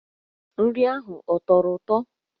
Nri ahụ ọ tọrọ ụtọ?